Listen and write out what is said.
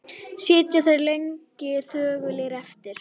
Sitja þeir lengi þögulir eftir.